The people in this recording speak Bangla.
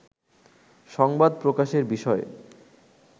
সংবাদ প্রকাশের বিষয়ে